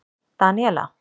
Daníela